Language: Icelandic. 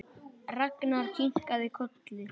Ragnar kinkaði kolli.